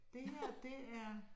Det her det er